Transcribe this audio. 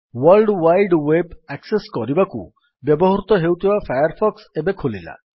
world wide web access କରିବାକୁ ବ୍ୟବହୃତ ହେଉଥିବା ଫାୟାର୍ ଫକ୍ସ ଏବେ ଖୋଲିଲା